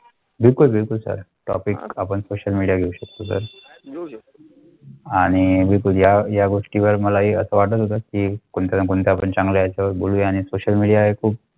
बिलकुल बिलकुल sir topic आपण सोशल मीडिया घेवू शकथो सर. आणि अह या घोष्टी वर मला असं वाटत होतं की कोणत्या ना कोणत्या पण चांगला आहे त्यामुळे आणि सोशल मीडिया हे खूप